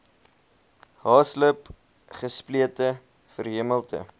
haaslip gesplete verhemelte